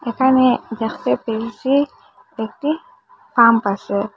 এখানে দেখতে পেয়েসি একটি পাম্প আসে ।